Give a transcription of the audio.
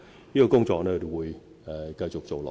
這些工作我們會繼續做下去。